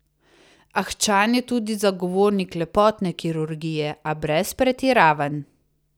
Ahčan je tudi zagovornik lepotne kirurgije, a brez pretiravanj.